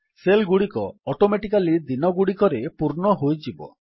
cell ଗୁଡ଼ିକ automatically ଦିନଗୁଡ଼ିକରେ ପୂର୍ଣ୍ଣ ହୋଇଯିବ